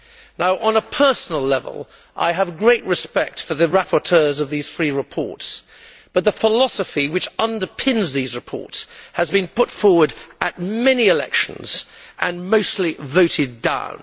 Now, on a personal level I have great respect for the rapporteurs of these three reports, but the philosophy which underpins the reports has been put forward at many elections and mostly voted down.